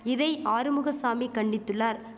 இதை ஆறுமுகசாமி கண்டித்துள்ளார்